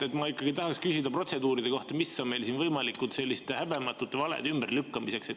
Jah, ma ikkagi tahaksin küsida protseduuride kohta, mis meil on siin võimalikud selliste häbematute valede ümberlükkamiseks.